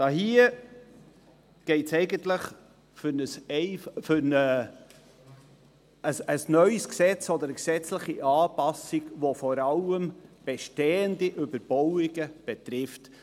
Hier geht es eigentlich um ein neues Gesetz oder eine gesetzliche Anpassung, welche vor allem bestehende Überbauungen betrifft.